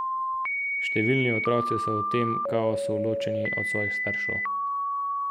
Številni otroci so v tem kaosu ločeni od svojih staršev.